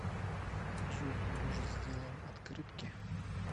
джой может сделаем открытки